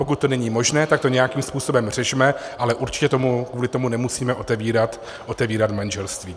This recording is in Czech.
Pokud to není možné, tak to nějakým způsobem řešme, ale určitě kvůli tomu nemusíme otevírat manželství.